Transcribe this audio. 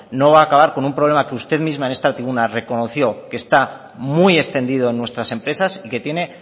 no va a acabar con un problema que usted misma en esta tribuna reconoció que está muy extendido en nuestras empresas y que tiene